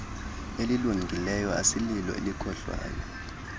elilungileyo asililo elokohlwaya